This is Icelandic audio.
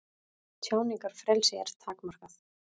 Tjáningarfrelsi er takmarkað